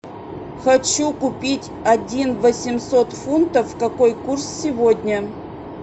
хочу купить один восемьсот фунтов какой курс сегодня